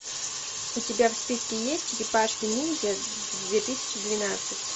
у тебя в списке есть черепашки ниндзя две тысячи двенадцать